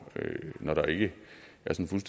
når der ikke